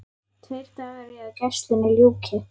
Tveir dagar í að gæslunni ljúki.